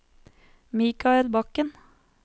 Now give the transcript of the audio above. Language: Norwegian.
Michael Bakken